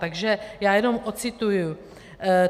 Takže já jenom ocituji.